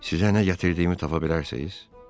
Sizə nə gətirdiyimi tapa bilərsiz?